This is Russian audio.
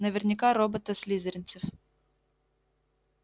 наверняка робота слизеринцев